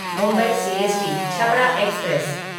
Mumbai CST Chhapra express